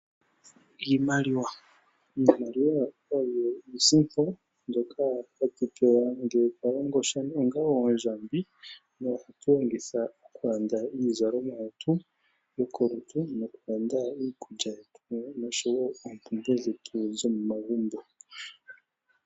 Iimaliwa, iimaliwa oyo iisimpo mbyoka hatupewa ngele twalongo tya onga oondjaambi na ohatulongitha okulanda iizalomwa yetu yokolutu nokulanda iikulya yetu nosho wo oompumbwe dhetu dhomomagumbo.